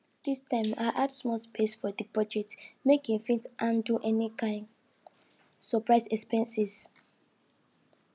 dis time i add small space for the budget make e fit handle any kain surprise expenses